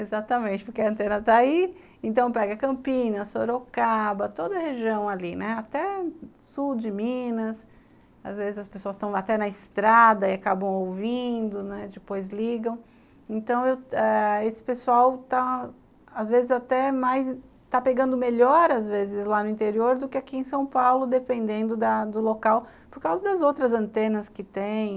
exatamente, porque a antena tá aí, então pega Campinas, Sorocaba, toda a região ali, né, até sul de Minas, às vezes as pessoas estão até na estrada e acabam ouvindo, né, depois ligam, então esse pessoal está às vezes até mais, está pegando melhor às vezes lá no interior do que aqui em São Paulo, dependendo do local, por causa das outras antenas que tem,